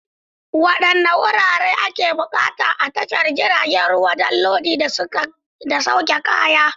Wadanne wurare ake buƙata a tashar jiragen ruwa don lodi da sauke kaya?